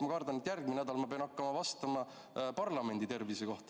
Ma kardan, et järgmisel nädalal ma pean avalikkusele hakkama vastama parlamendi tervise kohta.